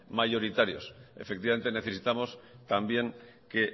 mayoritarios efectivamente necesitamos también que